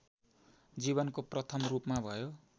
जीवनको प्रथम रूपमा भयो